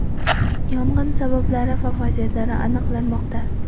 Yong‘in sabablari va vaziyatlari aniqlanmoqda.